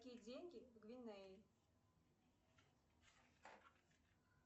какие деньги в гвинее